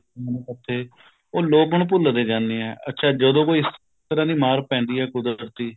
ਮੱਥੇ ਉਹ ਲੋਕ ਹੁਣ ਭੁੱਲਦੇ ਜਾਂਦੇ ਹੈ ਅੱਛਾ ਜਦੋਂ ਕੋਈ ਇਸ ਤਰ੍ਹਾਂ ਦੀ ਮਾਰ ਪੈਂਦੀ ਹੈ ਕੁਦਰਤ ਦੀ